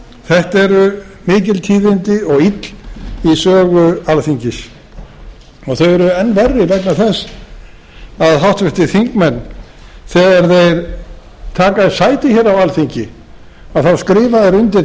þetta eru mikil tíðindi og ill í sögu alþingis þau eru enn verri vegna þess að háttvirtir þingmenn þegar þeir taka sæti á alþingi þá skrifa þeir undir